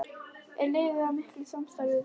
Er liðið í miklu samstarfi við Val?